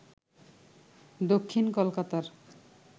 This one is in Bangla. দক্ষিণ কলকাতার